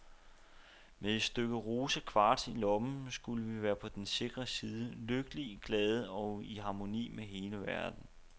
Med et stykke rosa kvarts i lommen skulle vi være på den sikre side, lykkelige, glade og i harmoni med hele verden.